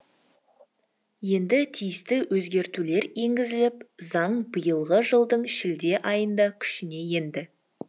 енді тиісті өзгертулер енгізіліп заң биылғы жылдың шілде айында күшіне енді